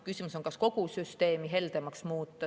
Küsimus on, kas kogu süsteemi heldemaks muuta.